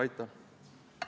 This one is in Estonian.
Aitäh!